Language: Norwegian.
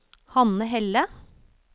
Hanne Helle